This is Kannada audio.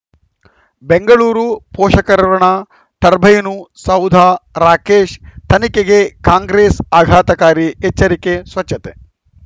ಬೆಂಗಳೂರು ಪೋಷಕರಋಣ ಟರ್ಬೈನು ಸೌಧ ರಾಕೇಶ್ ತನಿಖೆಗೆ ಕಾಂಗ್ರೆಸ್ ಆಘಾತಕಾರಿ ಎಚ್ಚರಿಕೆ ಸ್ವಚ್ಛತೆ